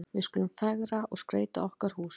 Við skulum fegra og skreyta okkar hús.